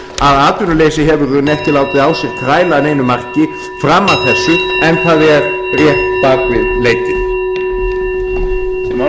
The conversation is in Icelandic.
atvinnuleysi hefur í raun ekki látið á sér kræla að neinu marki fram að þessu en það er rétt bak við leitið